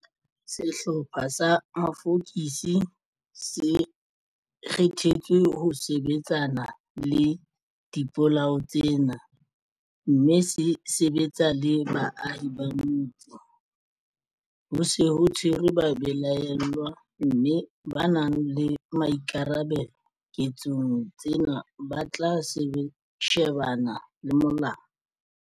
Sehlopha sa mafokisi se kgethetswe ho sebetsana le dipolao tsena mme se sebetsa le baahi ba motse. Ho se ho tshwerwe babelaellwa mme ba nang le boikarabelo ketsong tsena ba tla shebana le molao.